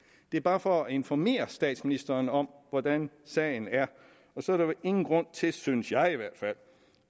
det er bare for at informere statsministeren om hvordan sagen er og så er der ingen grund til synes jeg i hvert fald